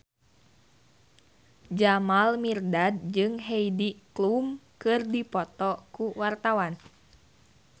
Jamal Mirdad jeung Heidi Klum keur dipoto ku wartawan